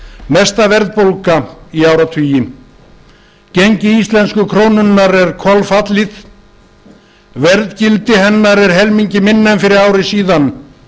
mesta verðbólga í áratugi gengi íslensku krónunnar er kolfallið verðgildi hennar er helmingi minna en fyrir ári síðan